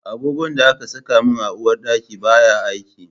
Agogon da aka saka min a uwarɗaki baya aiki